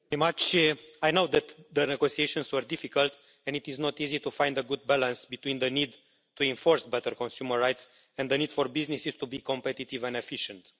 Mr President, I know that the negotiations were difficult and it is not easy to find a good balance between the need to enforce better consumer rights and the need for businesses to be competitive and efficient.